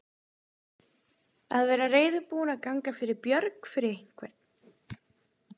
Að vera reiðubúinn að ganga fyrir björg fyrir einhvern